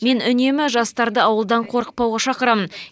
мен үнемі жастарды ауылдан қорықпауға шақырамын